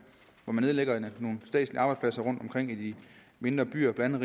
hvor man nedlægger nogle statslige arbejdspladser rundtomkring i de mindre byer blandt